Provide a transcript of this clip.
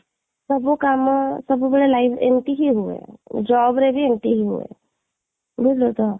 ସବୁ କାମ ସବୁବେଳେ life ଏମିତି ହି ହୁଏ, jobରେ ବି ଏମିତି ହି ହୁଏ ବୁଝିଲୁ ତ?